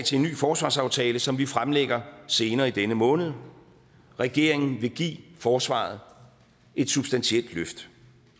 til en ny forsvarsaftale som vi fremlægger senere i denne måned regeringen vil give forsvaret et substantielt løft